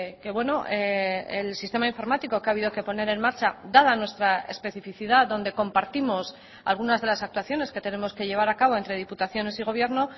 que el sistema informático que ha habido que poner en marcha dada nuestra especificidad donde compartimos algunas de las actuaciones que tenemos que llevar a cabo entre diputaciones y gobierno